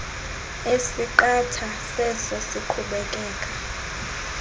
esiqatha seso siqhubekeka